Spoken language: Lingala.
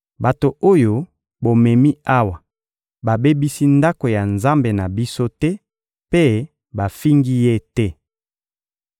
Bato oyo bomemi awa babebisi ndako ya nzambe na biso te mpe bafingi ye te.